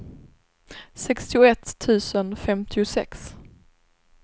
sextioett tusen femtiosex